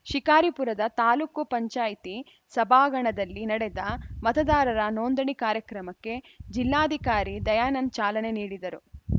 ಶಿಕಾರಿಪುರದ ತಾಪಂ ಸಭಾಂಗಣದಲ್ಲಿ ನಡೆದ ಮತದಾರರ ನೋಂದಣಿ ಕಾರ್ಯಕ್ರಮಕ್ಕೆ ಜಿಲ್ಲಾಧಿಕಾರಿ ದಯಾನಂದ್‌ ಚಾಲನೆ ನೀಡಿದರು